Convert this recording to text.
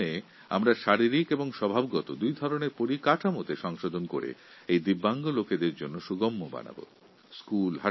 physical ও virtual এই দুই ধরনের পরিকাঠামোর উন্নয়ন করে দিব্যাঙ্গ ব্যক্তিদের সুগম্য করার চেষ্টা করবো